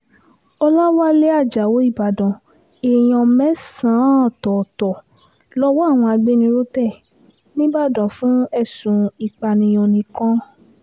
ọ̀làwálẹ̀ ajáò ìbàdàn èèyàn mẹ́sàn-án ọ̀tọ̀ọ̀tọ̀ lowó àwọn agbófinró tẹ nìbàdàn fún ẹ̀sùn ìpànìyàn nìkan